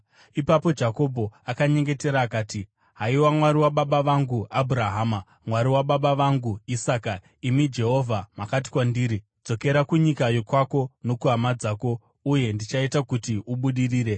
Ipapo Jakobho akanyengetera akati, “Haiwa Mwari wababa vangu Abhurahama, Mwari wababa vangu Isaka, imi Jehovha makati kwandiri, ‘Dzokera kunyika yokwako nokuhama dzako, uye ndichaita kuti ubudirire,’